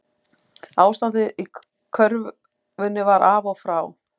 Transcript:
Ástandið í körfunni var af og frá